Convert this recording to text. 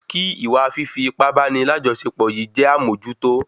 Kí ìwa fífi ipá báni lajọsepọ yìí jẹ́ amojuto